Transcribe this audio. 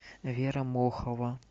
вера мохова